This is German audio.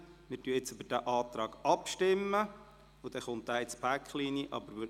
Wir stimmen über den vorliegenden Antrag ab, sodass dieser auch in das Paket hineingenommen wird.